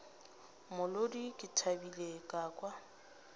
molodi ke thabile ka kwa